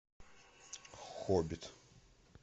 хоббит